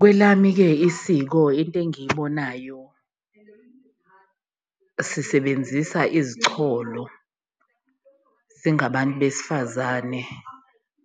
Kwelami-ke isiko into engiyibonayo, sisebenzisa izicholo singabantu besifazane